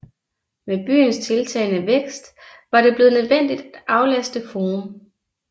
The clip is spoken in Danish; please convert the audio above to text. Med byens tiltagende vækst var det blevet nødvendigt at aflaste forum